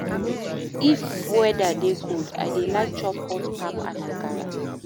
If weather dey cold, I dey like chop hot pap and akara